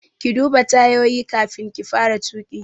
Ki duba tayoyi kafin ki fara tuƙi!